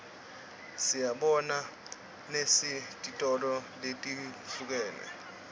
siyibona nesetitolo letihlukene